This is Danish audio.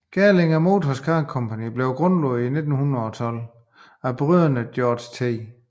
Gerlinger Motor Car Company blev grundlagt i 1912 af brødrende George T